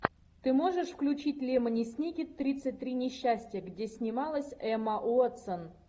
ты можешь включить лемони сникет тридцать три несчастья где снималась эмма уотсон